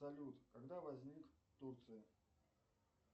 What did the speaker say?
салют когда возник турция